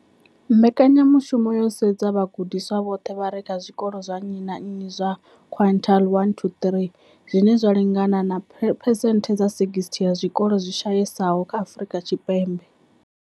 Mbekanya mushumo yo sedza vhagudiswa vhoṱhe vha re kha zwikolo zwa nnyi na nnyi zwa quintile 1-3, zwine zwa lingana na phesenthe dza 60 ya zwikolo zwi shayesaho Afrika Tshipembe.